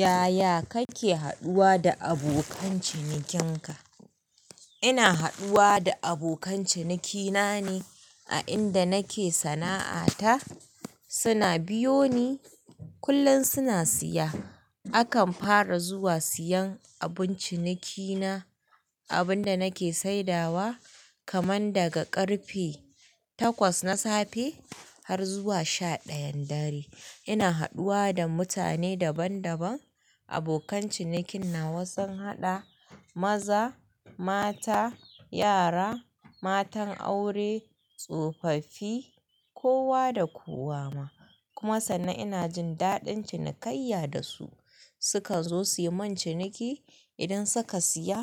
Yaya kake haɗuwa da abokan cinikin ka? Ina haɗuwa da abokan cinikina ne a inda nake sana'a ta. Suna biyo ni, kullum suna siya. Akan fara zuwa siyan abun cinikina, abun da nake sai dawa kamar daga ƙarfe takwas na safe har zuwa sha ɗayan dare. Ina haɗuwa da mutane daban-daban, abokan cinikin nawa sun haɗa, maza, mata, yara, matan aure, tsofaffi, kowa da kowa ma. Kuma sannan ina jin daɗin cinikayya da su. Sukan zo suyi mun ciniki, idan suka siya